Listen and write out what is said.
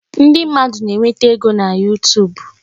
Ndị mmadụ na-enweta ego na YuTub